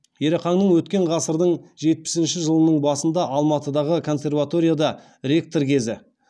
ерақаңның өткен ғасырдың жетпісінші жылының басында алматыдағы консерваторияда ректор кезі